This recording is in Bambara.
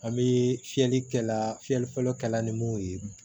An bɛ fiyɛli kɛla fiyɛli fɔlɔ kɛla ni mun ye